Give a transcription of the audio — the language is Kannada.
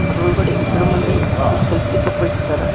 ಅದರೊಳಗಡೆ ಇಬ್ರು ಮಂದಿ ಹುಡಗುರ್ ಸೆಲ್ಫಿ ತಗೋತಿದ್ದಾರೆ.